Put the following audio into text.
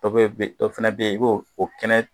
Ɔ dɔ fana bɛ yen i b'o o kɛnɛ